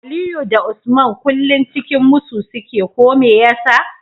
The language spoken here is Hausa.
Aliyu da Usman kullun cikin musu suke ko meyasa